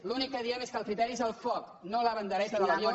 l’únic que diem és que el criteri és el foc no la bandereta de l’avió